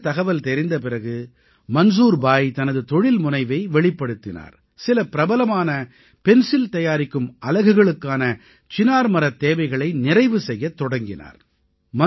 இந்தத் தகவல் தெரிந்த பிறகு மன்சூர் பாய் தனது தொழில்முனைவை வெளிப்படுத்தினார் சில பிரபலமான பென்சில் தயாரிக்கும் அலகுகளுக்கான சினார் மரத் தேவைகளை நிறைவு செய்யத் தொடங்கினார்